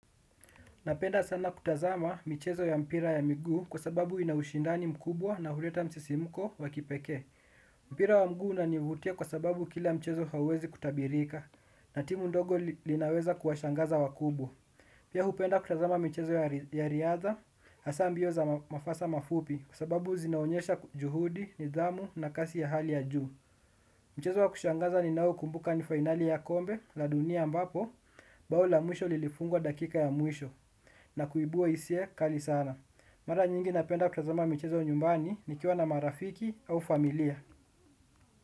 Napenda sana kutazama michezo ya mpira ya miguu kwa sababu ina ushindani mkubwa na huleta msisimuko wa kipekee. Mpira wa mguu unanivutia kwa sababu kila mchezo hauwezi kutabirika na timu ndogo linaweza kuwashangaza wakubwa. Pia hupenda kutazama michezo ya riadha, hasa mbio za mafasa mafupi kwa sababu zinaonyesha juhudi, nidhamu na kasi ya hali ya juu. Mchezo wa kushangaza ninaoukumbuka ni finali ya kombe la dunia ambapo bao la mwisho lilifungwa dakika ya mwisho. Na kuibua hisia kali sana. Mara nyingi napenda kutazama michezo nyumbani nikiwa na marafiki au familia.